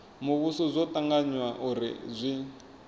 muvhuso zwo tanganywa uri zwi